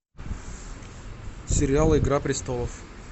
сериал игра престолов